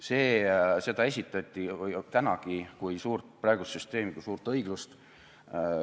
Seda praegust süsteemi esitati tänagi kui suurt õiglust.